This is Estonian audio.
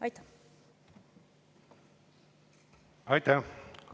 Aitäh!